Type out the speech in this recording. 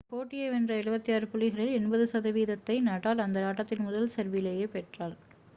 போட்டியை வென்ற 76 புள்ளிகளில் 88%-ஐ நடால் அந்த ஆட்டத்தில் முதல் செர்விலேயே பெற்றார்